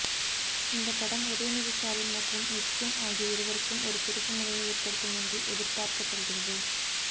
இந்த படம் உதயநிதி ஸ்டாலின் மற்றும் மிஷ்கின் ஆகிய இருவருக்கும் ஒரு திருப்புமுனையை ஏற்படுத்தும் என்று எதிர்பார்க்கப்படுகிறது